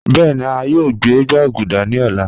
Bẹẹni a yoo gbẹ gbaguda ni ọla